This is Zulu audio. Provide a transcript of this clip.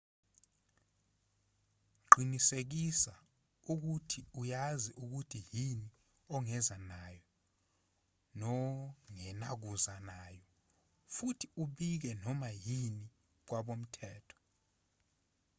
qinisekisa ukuthi uyazi ukuthi yini ongeza nayo nongenakuza nayo futhi ubike noma yini kwabomthetho